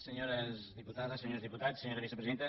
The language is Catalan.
senyores diputades senyors diputats senyora vicepresidenta